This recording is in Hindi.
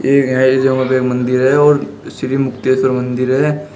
एक मन्दिर है और श्री मुक्तेश्वर मंदिर है।